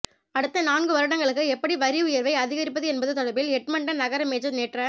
அடுத்த நான்கு வருடங்களுக்கு எப்படி வரி உயர்வை அதிகரிப்பது என்பது தொடர்பில் எட்மன்டன் நகர மேஜர் நேற்ற